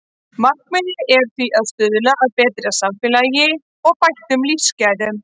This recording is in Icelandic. Markmiðið er því að stuðla að betra samfélagi og bættum lífsgæðum.